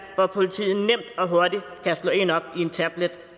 hvor politiet nemt og hurtigt kan slå en op i en tablet